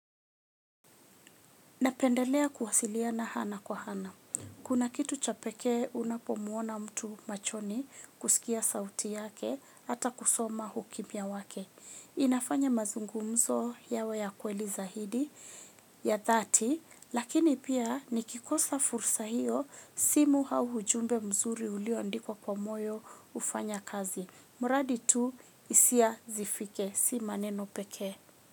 Napendelea kuwasiliana hana kwa hana. Kuna kitu cha pekee unapomuona mtu machoni kusikia sauti yake ata kusoma hukimia wake. Inafanya mazungumzo yawe ya kweli zahidi ya dhati lakini pia nikikosa fursa hiyo simu hau hujumbe mzuri uliondikwa kwa moyo ufanya kazi. Muradi tu isia zifike, si maneno pekee.